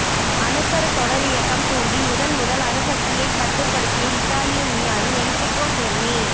அணுக்கருத் தொடரியக்கம் தூண்டி முதன்முதல் அணுசக்தியைக் கட்டுப்படுத்திய இத்தாலிய விஞ்ஞானி என்ரிக்கோ ஃபெர்மி